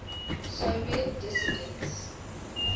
soviet dissidents